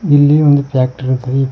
ಇಲ್ಲಿ ಒಂದ ಪ್ಯಾಕ್ಟರಿ ಅಂತಾರಿ ಪ್ಯಾ--